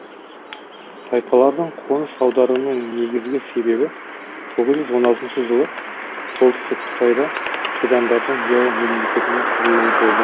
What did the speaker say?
тайпалардың қоныс аударуының негізгі себебі тоғыз жүз он алтыншы жылы солтүстік қытайда қидандардың ляо мемлекетінің кұрылуы болды